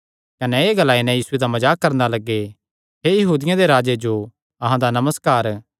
कने एह़ ग्लाई नैं यीशुये दा मजाक करणा लग्गे हे यहूदियां दे राजे जो अहां दा नमस्कार